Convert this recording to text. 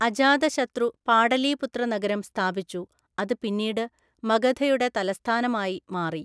അജാതശത്രു പാടലീപുത്ര നഗരം സ്ഥാപിച്ചു, അത് പിന്നീട് മഗധയുടെ തലസ്ഥാനമായി മാറി.